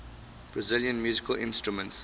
brazilian musical instruments